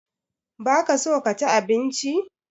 Ba ka so ka ci abinci?